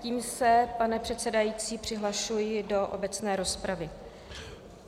Tím se, pane předsedající, přihlašuji do obecné rozpravy.